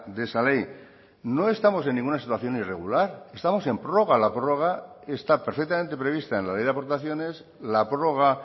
de esa ley no estamos en ninguna situación irregular estamos en prórroga la prórroga está perfectamente prevista en la ley de aportaciones la prórroga